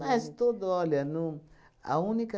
Mas tudo, olha, não, a única...